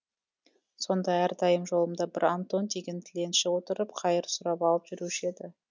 сонда әрдайым жолымда бір антон деген тіленші отырып қайыр сұрап алып жүруші еді